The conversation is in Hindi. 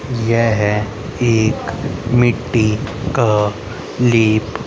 यह एक मिट्टी का लेप--